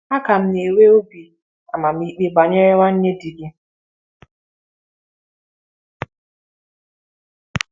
A ka m na-enwe obi amamikpe banyere nwanne di gị.